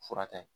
Fura ta ye